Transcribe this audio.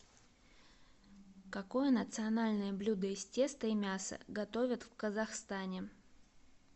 какое национальное блюдо из теста и мяса готовят в казахстане